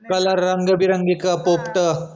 colour रंगीबेरंगी पोपट